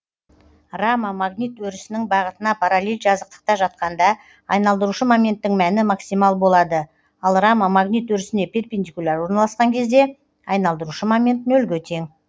рама магнит өрісінің бағытына параллель жазықтықта жатқанда айналдырушы моменттің мәні максимал болады ал рама магнит өрісіне перпендикуляр орналаскан кезде айналдырушы момент нөлге тең